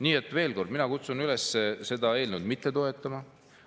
Nii et veel kord, mina kutsun üles seda eelnõu mitte toetama.